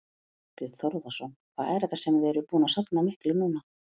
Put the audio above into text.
Þorbjörn Þórðarson: Hvað er þetta sem þið eruð búin að safna miklu núna?